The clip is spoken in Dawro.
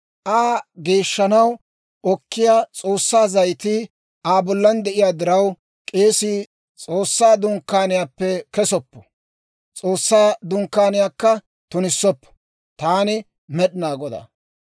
Aa geeshshanaw okkiyaa S'oossaa zayitii Aa bollan de'iyaa diraw, k'eesii S'oossaa Dunkkaaniyaappe kesoppo; S'oossaa Dunkkaaniyaakka tunissoppo. Taani Med'inaa Godaa.